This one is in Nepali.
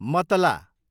मतला